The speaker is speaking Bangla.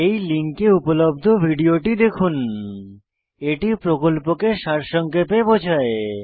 এই লিঙ্কে উপলব্ধ ভিডিওটি দেখুন httpspoken tutorialorgWhat is a Spoken Tutorial এটি প্রকল্পকে সারসংক্ষেপে বোঝায়